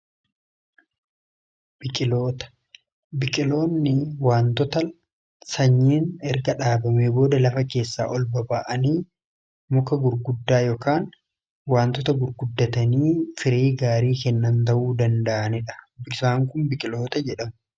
biqiloota, biqiloonni waantota sanyiin erga dhaabame booda lafa keessaa olba'aanii muka gurguddaa ykn waantota gurguddatanii firii gaarii kennan ta'uu danda'aniidha. isaan kun biqiloota jedhamu.